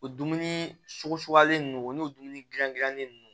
O dumuni suguyalen ninnu o n'o dumuni gilan gilanni ninnu